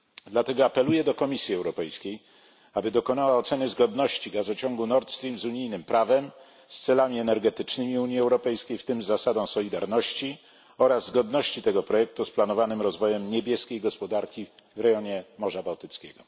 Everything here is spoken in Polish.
Dlatego apeluję do Komisji Europejskiej, aby dokonała oceny zgodności gazociągu Nord Stream z unijnym prawem, z celami energetycznymi Unii Europejskiej, w tym z zasadą solidarności, oraz zgodności tego projektu z planowanym rozwojem niebieskiej gospodarki w rejonie Morza Bałtyckiego.